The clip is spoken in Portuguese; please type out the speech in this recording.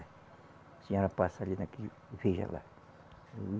A senhora passa ali naquele, veja lá.